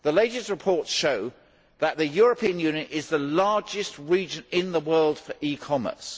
The latest reports show that the European Union is the largest region in the world for e commerce.